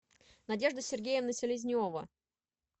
надежда сергеевна селезнева